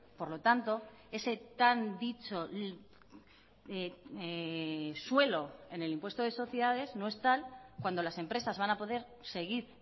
por lo tanto ese tan dicho suelo en el impuesto de sociedades no es tal cuando las empresas van a poder seguir